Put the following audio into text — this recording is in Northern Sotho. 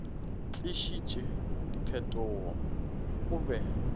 tlišitše diphetogo ge o be